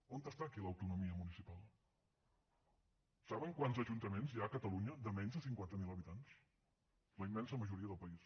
on està aquí l’autonomia municipal saben quants ajuntaments hi ha a catalunya de menys de cinquanta mil habitants la immensa majoria del país